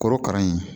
Korokara in